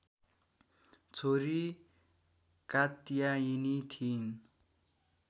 छोरी कात्यायिनी थिइन्